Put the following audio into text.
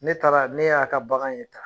Ne taara ne y'a ka bagan ye tan